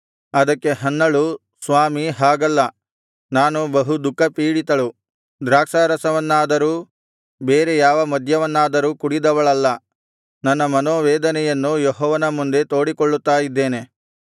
ಅದಕ್ಕೆ ಹನ್ನಳು ಸ್ವಾಮೀ ಹಾಗಲ್ಲ ನಾನು ಬಹು ದುಃಖಪೀಡಿತಳು ದ್ರಾಕ್ಷಾರಸವನ್ನಾದರೂ ಬೇರೆ ಯಾವ ಮದ್ಯವನ್ನಾದರೂ ಕುಡಿದವಳಲ್ಲ ನನ್ನ ಮನೋವೇದನೆಯನ್ನು ಯೆಹೋವನ ಮುಂದೆ ತೋಡಿಕೊಳ್ಳುತ್ತಾ ಇದ್ದೇನೆ